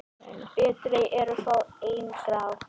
Betri eru fá en grá?